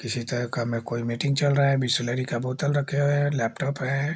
किसी तरह का में कोई मीटिंग चल रहा है बिसलेरी का बोतल रखे हुए है लेपटोप है।